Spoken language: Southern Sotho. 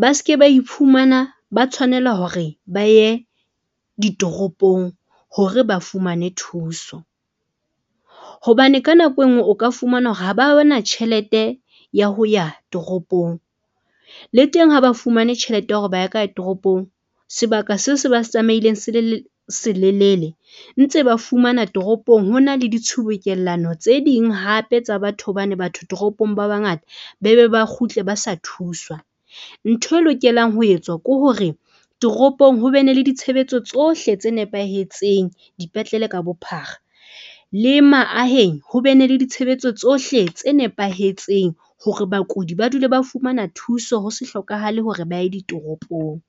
ba ske ba ifumana ba tshwanela hore ba ye ditoropong hore ba fumane thuso, hobane ka nako e nngwe o ka fumana hore ha ba bana tjhelete ya ho ya toropong. Le teng ha ba fumane tjhelete ya hore ba ka ya toropong sebaka seo se ba tsamaileng se le se lelele ntse ba fumana toropong hona le ditshubukellano tse ding hape tsa batho, hobane batho toropong ba bangata be be ba kgutle ba sa thuswa. Ntho e lokelang ho etswa ke hore toropong ho be ne le ditshebetso tsohle tse nepahetseng, dipetlele ka bophara le maaheng ho bene le ditshebeletso tsohle tse nepahetseng. Hore bakudi ba dule ba fumana thuso, ho se hlokahale hore ba ye ditoropong.